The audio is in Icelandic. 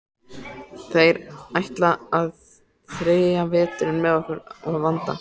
Þeir ætla að þreyja veturinn með okkur að vanda.